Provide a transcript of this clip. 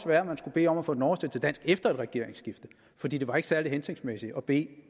være at man skulle bede om at få den oversat til dansk efter et regeringsskifte for det var ikke særlig hensigtsmæssigt at bede